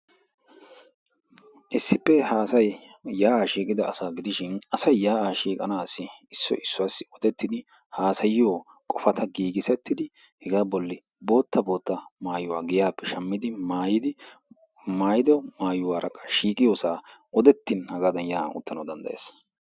Issippe ha asay yaa'a shiiqida asa gidishin asay yaa'a shiiqanassi issoy issuwayyo wutettidi haassayiyo qopata giigissetidi hegaa bolla bootta bootta maayyuwa giyappe shammidi maayyidi maayyido maayyuwaara qassi odettin hagadan yaa'an uttana danddayees.